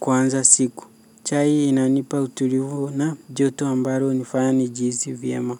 kuanza siku. Chai inanipa utulivu na joto ambalo hunifanya nijihisi vyema.